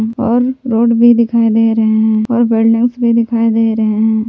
और रोड भी दिखाई दे रहे हैं और बिल्डिंग्स भी दिखाई दे रहे हैं।